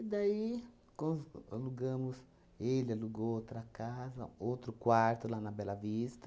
daí, cons alugamos... Ele alugou outra casa, outro quarto lá na Bela Vista,